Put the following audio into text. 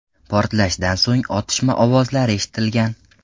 Portlashdan so‘ng otishma ovozlari eshitilgan.